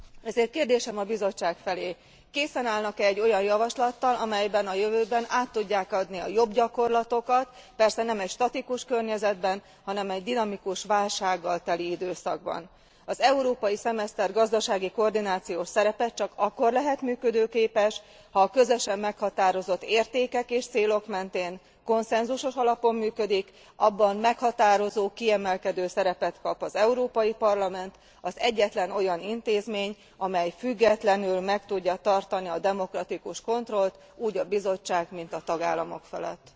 Ezért kérdésem a Bizottság felé készen állnak e egy olyan javaslattal, amelyben a jövőben át tudják adni a jobb gyakorlatokat, persze nem egy statikus környezetben, hanem egy dinamikus, válsággal teli időszakban. Az európai szemeszter gazdasági koordinációs szerepe csak akkor lehet működőképes, ha közösen meghatározott értékek és célok mentén konszenzusos alapon működik, abban meghatározó, kiemelkedő szerepet kap az Európai Parlament, az egyetlen olyan intézmény, amely függetlenül meg tudja tartani a demokratikus kontrollt, úgy a Bizottság, mint a tagállamok felett.